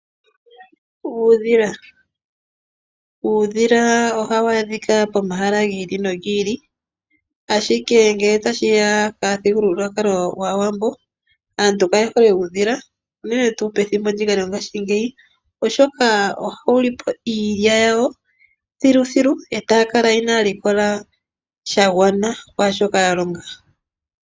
Uundhila. Uundhila ohawu adhika pomahala gi ili nogi ili ashike ngele tashiya momuthigululwakalo gwaawambo aantu kayehole uudhila unene tuu pethimbo ndika lyongashingeyi oshoka ohawu lipo iilya yawo thiluthilu etaya kala inaya likola shagwana kwaashoka ya longa.